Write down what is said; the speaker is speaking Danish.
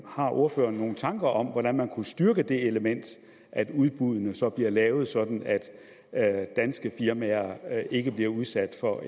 har ordføreren nogle tanker om hvordan man kunne styrke det element og at udbuddene så bliver lavet sådan at danske firmaer ikke bliver udsat for